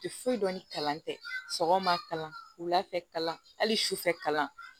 Tɛ foyi dɔn ni kalan tɛ sɔgɔma kalan wula fɛ kalan hali sufɛ kalan